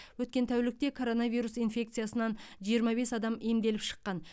өткен тәулікте коронавирус инфекциясынан жиырма бес адам емделіп шыққан